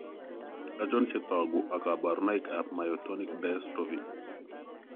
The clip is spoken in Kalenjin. Achon chetoogu ak kaborunoik ab Myotonic dyostrophy